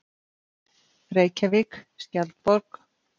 Reykjavík, Skjaldborg.